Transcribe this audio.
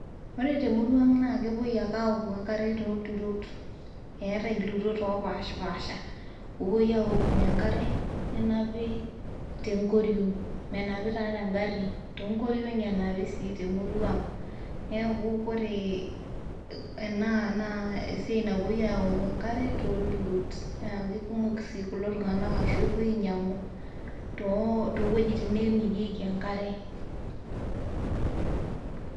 Ore te murua ang' naake epuoi ake aoku enkare tolturot, eetae ilturot opaashipaasha oopoui aakunye enkare nenapi te nkoriong' menapi taa te ng'ari too nkoriong'i enapi sii te murua ang'. Neeku kore ena naa esia napuoi aaku enkare tolturot naake kumok sii kulo tung'anak ashu epuoi aniyang'u too wojitin neemirieki enkare.